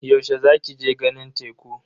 Yaushe za ki je ganin teku?